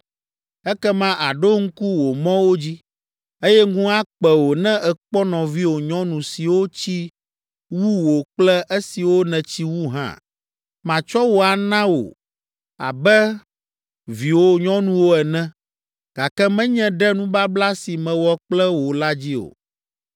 Ekema àɖo ŋku wò mɔwo dzi, eye ŋu akpe wò ne èkpɔ nɔviwò nyɔnu siwo tsi wu wò kple esiwo nètsi wu hã. Matsɔ wo ana wò abe viwò nyɔnuwo ene, gake menye ɖe nubabla si mewɔ kple wò la dzi o.